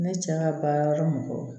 Ne cɛ ka baara mɔgɔw